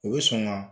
U bɛ sɔn ka